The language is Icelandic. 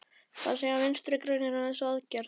Hvað segja Vinstri-grænir um þessa aðgerð?